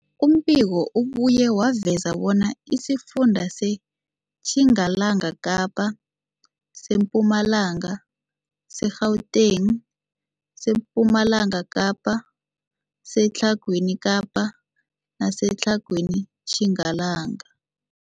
Umbiko ubuye waveza bona isifunda seTjingalanga Kapa, seMpumalanga, seGauteng, sePumalanga Kapa, seTlhagwini Kapa neseTlhagwini Tjingalanga.